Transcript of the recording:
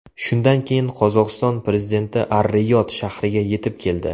Shundan keyin Qozog‘iston prezidenti Ar-Riyod shahriga yetib keldi.